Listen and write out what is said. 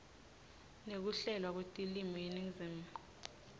nekuhlelwa kwetilwimi yeningizimu